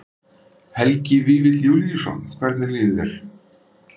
Helgi Vífill Júlíusson: Hvernig líður þér?